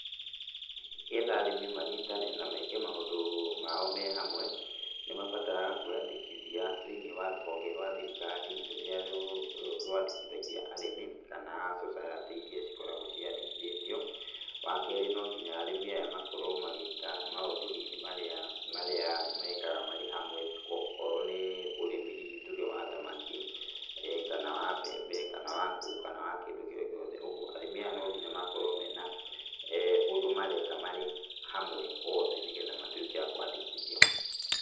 Nĩgetha arĩmi manyitane na meke maũndũ mao me hamwe, nĩmabataraga kwĩyandĩkithia thĩiniĩ wa rũhonge rwa thirikari, rũrĩa rwandĩkithagia arĩmi kana society iria cikoragwo ciandĩkithĩtio. Wakerĩ no nginya arĩmi aya makorwo magĩka maũndũ hihi marĩa marĩa mekaga marĩ hamwe, okorwo nĩ ũrĩmi hihi tuge wa thamaki, kana wa mbembe, kana wa ngũ, kana wa kĩndũ o gĩothe, kuoguo arĩmi aya no nginya makorwo mena ũndũ mareka marĩ hamwe othe nĩgetha matuĩke a kwandĩkithio.